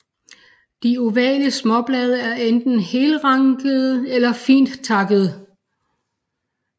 De ovale småblade er enten helrandede eller fint takkede